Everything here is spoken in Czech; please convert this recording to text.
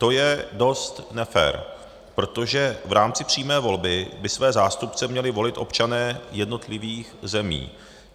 To je dost nefér, protože v rámci přímé volby by své zástupce měli volit občané jednotlivých zemí.